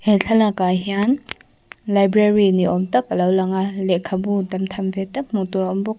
he thlalakah hian library ni awm tak a lo lang a lehkhabu tam tham ve tak hmuh tur a awm bawk.